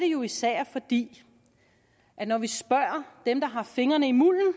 jo især fordi vi når vi spørger dem der har fingrene i mulden